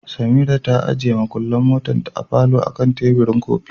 Samirat ta ajiye mukullin motarta a falo akan teburin kofi.